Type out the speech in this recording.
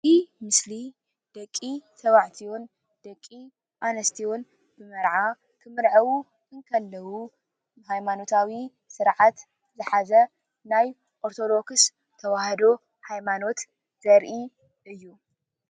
እዚ ምስሊ እትረእዎ ደቂ ተባዕትዮ ምስ ደቂ ኣነስትዮ መርዓ ክምርዐዉ እንተለው ሃይማነታዊ ስርዓት ዝሓዘ ናይ ኦርቶዶክስ ተዋህዶ ሃይማኖት ዘርኢ ምስሊ እዩ ፡፡